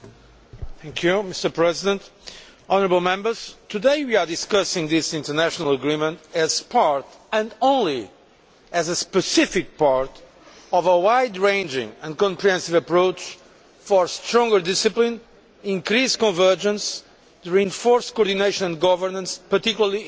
Mr President, today we are discussing this international agreement as part and only as a specific part of a wide ranging and comprehensive approach for stronger discipline, increased convergence and reinforced coordination and governance, particularly in the euro area.